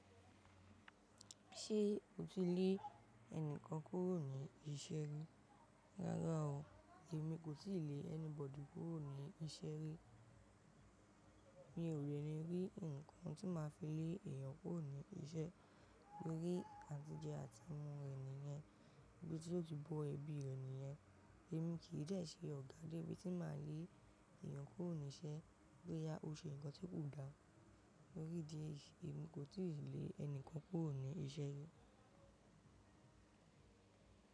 Ṣé o ti lè ẹnìkan kúrò ní iṣẹ́ rí? Rárá o, èmi kò ti lè anybody kúrò ní iṣẹ́ rí. Mi ò lè rí ǹkan tí máa fi lè èèyàn kúrò ní iṣẹ́ lórí àtìjẹ àtimu re nìyen, ibi tí yóò ti bọ́ ẹbí rè nìyen. Ẹ̀mí kì í dẹ̀ ṣe ọ̀gá dé bí ti máa lé èèyàn kúrò ní iṣẹ́, bóyá ó ṣe ǹkan tí kò dára. Tórí idí ẹ̀yi, èmi kò ti lè ẹnìkan kúrò ní iṣẹ́ rí.